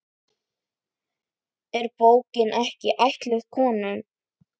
Er bókin ekki ætluð konum?